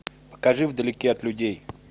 покажи вдалеке от людей